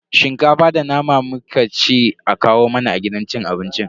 Shinkafa da nama muka ce a kawo mana a gidan cin abincin.